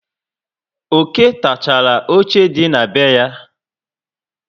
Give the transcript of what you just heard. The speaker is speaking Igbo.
Oké takachara óche dị na be ha